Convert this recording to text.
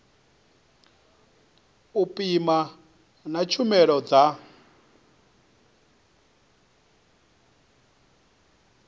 u pima na tshumelo dza